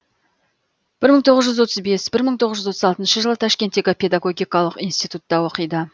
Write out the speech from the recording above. бір мың тоғыз жүз отыз бес бір мың тоғыз жүз отыз алтыншы жылы ташкенттегі педагогикалық институтта оқиды